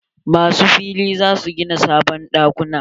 Masu fili za su gina sabon ɗakuna.